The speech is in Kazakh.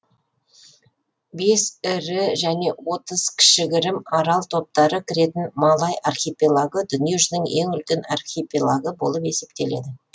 бес ірі және отыз кішігірім арал топтары кіретін малай архипелагы дүниежүзінің ең үлкен архипелагы болып есептеледі